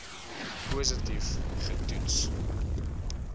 positief ge toets